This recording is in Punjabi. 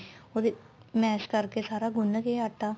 ਉਹਦੇ mash ਕਰਕੇ ਸਾਰਾ ਗੁੰਨ ਕੇ ਆਟਾ